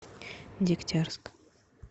дегтярск